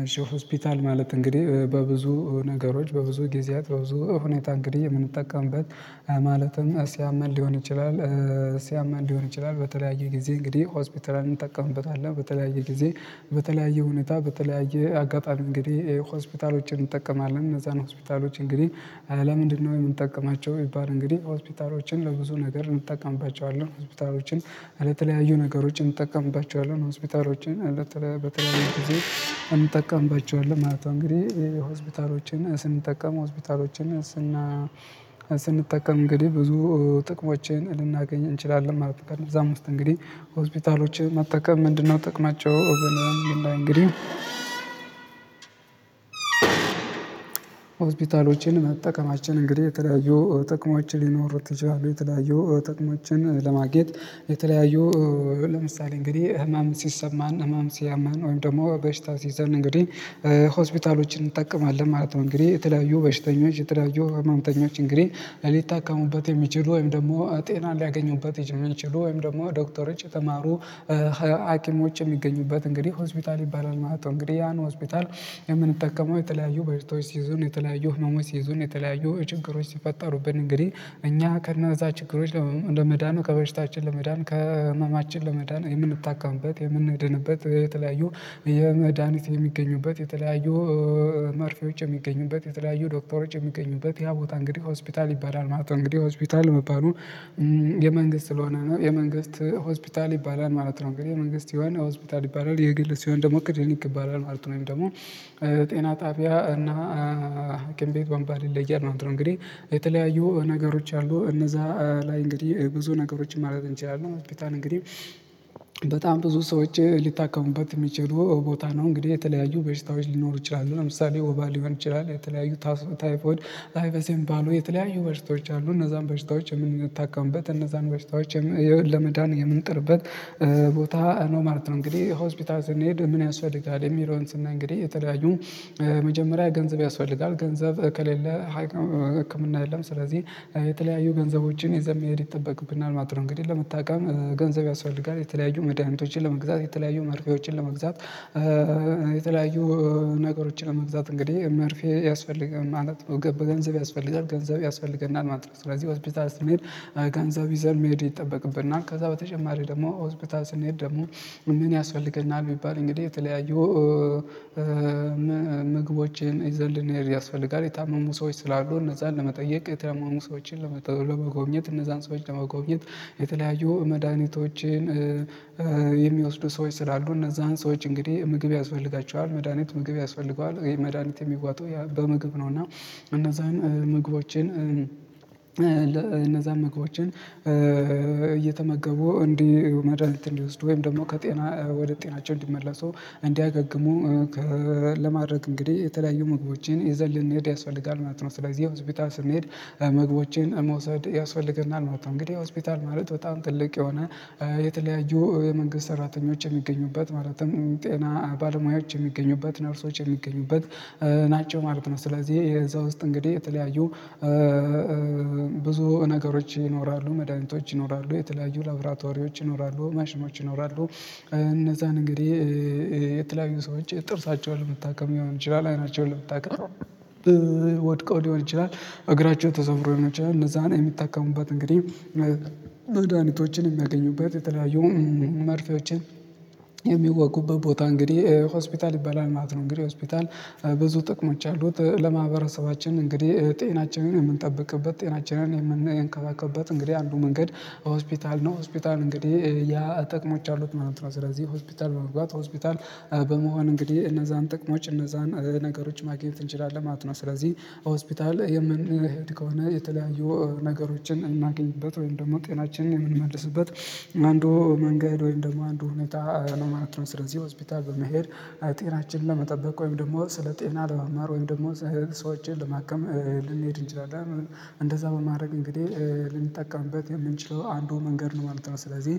አይሾ ሆስፒታል ማለት እንግዲህ በብዙ ነገሮች በብዙ ጊዜያት በብዙ ሁኔታ እንግዲህ ምንጠቀምበት ማለትም ሲያመን ሊሆን ይችላል ሲያመን ሊሆን ይችላል። በተለያየ ጊዜ እንግዲህ ሆስፒታልን እንጠቀምበታለን በተለያየ ጊዜ በተለያየ ሁነታ በተለያየ አጋጣሚ እንግዲህ ሆስፒታሎችን እንጠቀማለን። እነዛን ሆስፒታሎች እንግዲህ ለምንድነው የምንጠቀማቸው? ቢባል እንግዲህ ሆስፒታሎችን ለብዙ ነገር እንጠቀምባቸዋለን ሆስፒታሎችን ለተለያዩ ነገሮች እንጠቀምባቸዋለን ሆስፒታሎችን በተለይ በተለይ ጊዜ እንጠቀምባቸዋለን ማለት ነው። እንግዲህ ሆስፒታሎችን ስንጠቀም ሆስፒታሎችን ስና ስንጠቀም እንግዲህ ብዙ ጥቅሞችን ልናገኝ እንችላለን ማለት ነው። ከ እነዛም ውስጥ እንግዲህ ሆስፒታሎችን መጠቀም ምንድነው ጥቅማቸው ብለን ብናይ እንግዲህ? ሆስፒታሎችን መጠቀማችን እንግዲህ የተለያዩ ጥቅሞች ሊኖር ይችላል። የተለያዩ ጥቅሞችን ለማግኘት የተለያዩ ለምሳሌ እንግዲህ ህመም ሲሰማን ህመም ሲያማን ወይም ደግሞ በሽታ ሲይዛን እንግዲህ ሆስፒታሎችን እንጠቀማለን ማለት ነው። እንግዲህ የተለያዩ በሽተኞች የተለያዩ ህመምተኞች እንግዲህ ሊታከሙበት የሚችሉ ወይም ደግሞ ጤናን ሊያገኙበት እሚችሉ ወይም ደግሞ ዶክተሮች የተማሩ ሀኪሞች የሚገኙበት እንግዲህ ሆስፒታል ይባላል ማለት ነው። እንግዲህ ያን ሆስፒታል የምንጠቀመው የተለያዩ በሽታወች ሲይዙን የተለያዩ ህመሞች ሲይዙን የተለያየው ችግሮች ሲፈጠሩብን እንግዲህ እኛ ከእነዛ ችግሮች ለመዳን ከበሽታችን ለመዳን ከህመማችን ለመዳን የምንታከምበት የምንድንበት የተለያዩ የመድሃኒት የሚገኙበት የተለያዩ መርፌዎች የሚገኙበት የተለያዩ ዶክተሮች የሚገኙበት ያ ቦታ እንግዲህ ሆስፒታል ይባላል ማለት ነው። እንግዲህ ሆስፒታል መባሉ የመንግስት ስለሆነ ነው የመንግስት ሆስፒታል ይባላል ማለት ነው። እንግዲህ የመንግስት ሲሆን ሆስፒታል ይባላል የግል ሲሆን ደግሞ ክልኒክ ይባላል ማለት ነው። ደግሞ ጤና ጣቢያ እና ሀኪም ቤት ወንበር ይለያል ማለት ነው። እንግዲህ የተለያዩ ነገሮች አሉ እነዛ ላይ እንግዲህ ብዙ ነገሮችን ማለት እንችላለን። ሆስፒታል እንግዲህ በጣም ብዙ ሰዎች ሊታከሙበት እሚችሉ ቦታ ነው። እንግዲህ የተለያዩ በሽታዎች ሊኖሩ ይችላሉ ለምሳሌ ወባ ሊሆን ይችላል የተለያዩ ታይፎድ ታይፈስ የሚባሉ የተለያዩ በሽቶች አሉ እነዛን በሽታዎች የምንታከሙበት እነዛን በሽታዎች ለመዳን የምንጥርበት ቦታ ነው ማለት ነው። እንግዲህ ሆስፒታል ስንሄድ ምን ያስፈልጋል የሚለውን ስናይ? እንግዲህ የተለያዩ መጀመሪያ ገንዘብ ያስፈልጋል ገንዘብ ከሌለ ሀኪም ህክም የለም። ስለዚህ የተለያዩ ገንዘቦችን ይዘን መሄድ ይጠበቅብናል ማለት ነው። እንግዲህ ለመታከም ገንዘብ ያስፈልጋል የተለያዩ መድሃኒቶችን ለመግዛት የተለያዩ መርፌዎችን ለመግዛት የተለያዩ ነገሮችን ለመግዛት እንግዲህ መርፌ ያስፈልጋል ማለት ነው። በገንዘብ ያስፈልጋል ገንዘብ ያስፈልገናል ማለት ነው። ስለዚህ ሆስፒታል ስንሆድ ገንዘብ ይዘን መሄድ ይጠበቅብናል። ከዛ በተጨማሪ ደግሞ ሆስፒታል ስንሄድ ደግሞ ምን ያስፈልገናል ቢባል? እንግዲህ የተለያዩ ምግቦችን ይዘን ልንሄድ ያስፈልጋል። የታመሙ ሰዎች ስላሉ እነዛን ለመጠየቅ የታመሙ ሰዎችን ለመጎብኘት እነዛን ሰዎች ለመጎብኘት የተለያዩ መዳሃኒቶችን የሚወስዱ ሰዎች ስላሉ እነዛን ሰዎች እንግዲህ ምግብ ያስፈልጋቸዋል መድሃኒት ምግብ ያስፈልገዋል። ይሄ መድሃኒት የሚዋጡ በምግብ ነው እና እነዛን ምግቦችን እነዛን ምግቦችን እየተመገቡ እንዲህ መድሃኒት እንዲወስዱ ወይም ደግሞ ከጤና ወደ ጤናቸው እንዲመለሱ እንዲያገግሙ ለማድረግ እንግዲህ የተለያዩ ምግቦቼን ይዘን ልንሄድ ያስፈልጋል ማለት ነው። ስለዚህ ሆስፒታል ስንሄድ ምግቦችን መውሰድ ያስፈልገናል ማለት ነው። እንግዲህ ሆስፒታል ማለት በጣም ትልቅ የሆነ የተለያዩ የመንግስት ሰራተኞች የሚገኙበት ማለትም ጤና ባለሙያዎች የሚገኙበት ነርሶች የሚገኙበት ናቸው ማለት ነው። ስለዚህ እዛ ውስጥ እንግዲህ የተለያዩ ብዙ ነገሮች ይኖራሉ መድኃኒቶች ይኖራሉ የተለያዩ ላብራቶሪዎች ይኖራሉ ማሽኖች ይኖራሉ። እነዛን እንግዲህ የተለያዩ ሰዎች ጥርሳቸውን ለመታከም ሊሆን ይችላል። አይናቸውን ለመታከም ወድቀው ሊሆን ይችላል እግራቸው ተሰብሮ ሊሆን ይችላል። እነዛን የምታካሙበት እንግዲህ መዳኒቶችን እሚያገኙበት የተለያዩ መርፌዎችን የሚወጉበት ቦታ እንግዲህ ሆስፒታል ይባላል ማለት ነው። እንግዲህ ሆስፒታል ብዙ ጥቅሞች አሉት። ለማህበረሰባችን እንግዲህ ጤናችንን የምንጠብቅበት ጤናችንን የምንከባከብበት እንግዲህ አንዱ መንገድ ሆስፒታል ነው። ሆስፒታል እንግዲህ ያ ጠቅሞች አሉት ማለት ነው። ስለዚህ ሆስፒታል በመግባት ሆስፒታል በመሆን እንግዲህ እነዛን ጥቅሞች እነዛን ነገሮች ማግኘት እንችላለን ማለት ነው። ስለዚህ ሆስፒታል የምንሄድ ከሆነ የተለያዩ ነገሮችን እናገኝበት ወይም ደግሞ ጤናችንን የምንመልስበት አንዱ መንገድ ወይም ደግሞ አንዱ ሁኔታ ነው ማለት ነው። ስለዚህ ሆስፒታል በመሄድ ጤናችንን ለመጠበቅ ወይም ደግሞ ስለ ጤና ለመማር ወይም ደግሞ ሰውችን ለማከም ልንሄድ እንችላለን። እንደዛ በማድረግ እንግዲህ ልንጠቀምበት የምንችለው አንዱ መንገድ ነው ማለት ነው። ስለዚህ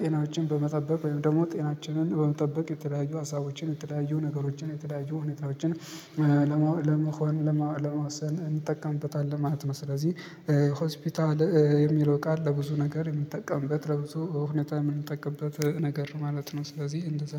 ጤናችን በመጠበቅ ወይም ደግሞ ጤናችንን በመጠበቅ የተለያዩ ሀሳቦችን የተለያዩ ነገሮችን የተለያዩ ሁኔታዎችን ለመሆን ለመዋሰን እንጠቀምበታለን ማለት ነው። ስለዚህ ሆስፒታል የሚለው ቃል ለብዙ ነገር የምንጠቀምበት ለብዙ ሁኔታ የምንጠቀምበት ነገር ነው ማለት ነው። ስለዚህ እንደዛ